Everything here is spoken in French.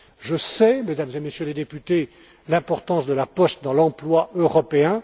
Je sais, Mesdames et Messieurs les députés, l'importance de la poste dans l'emploi européen.